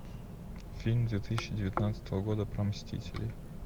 фильм две тысячи девятнадцатого года про мстителей